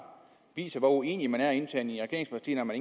viser hvor uenige man er internt i regeringspartierne